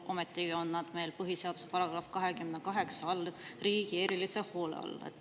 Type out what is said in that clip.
Ometigi on nad meil põhiseaduse § 28 kohaselt riigi erilise hoole all.